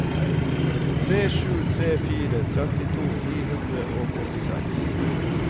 tre sju tre fire trettito ni hundre og åttiseks